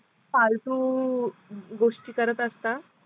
फालतू गोष्टी करत असता